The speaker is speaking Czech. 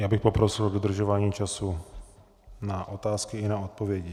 Já bych poprosil o dodržování času na otázky i na odpovědi.